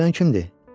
Ağlayan kimdir?